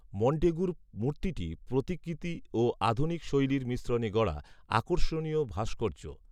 মন্টেগুর মূর্তিটি প্রতিকৃতি ও আধুনিক শৈলীর মিশ্রণে গড়া, আকর্ষণীয় ভাস্কর্য